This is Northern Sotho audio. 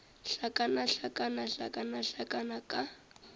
hlakana hlakana hlakana hlakana ka